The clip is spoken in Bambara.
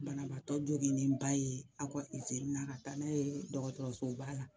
Banabaatɔ joginnenba ye a ka izini na ka taa n'a ye dɔgɔtɔrɔsoba la